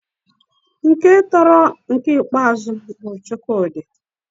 Nke sọtara ọtabụrụ bu Chukwudi.